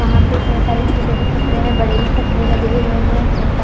वहां पर इतने सारे छोटे भी पत्थरे है बड़े भी पत्थरे लगे हुए है इतने सारे--